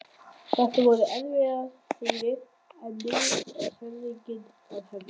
Þetta voru erfiðar hríðir en nú er fæðingin að hefjast.